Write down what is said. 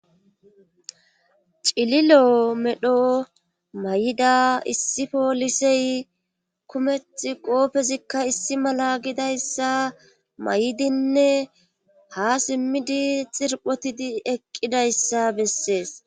Cililo medho may'ida issi poolisey kumeth qoofezikka issi mala gidayssa may'idinne ha simmidi xirphotidi eqqidayssa bessees.